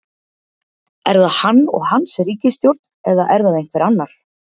Er það hann og hans ríkisstjórn eða er það einhver annar?